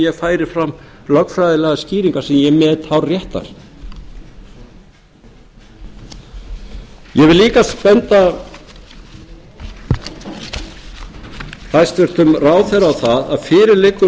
ég færi fram lögfræðilegar skýringar sem ég met hárréttar ég vil líka benda hæstvirtum ráðherra á það að fyrir liggur